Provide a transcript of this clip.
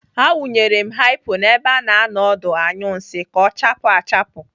Awụnyere m haipo n'ebe a na-anọ ọdụ anyụ nsị ka ọ chaapụ achapụ.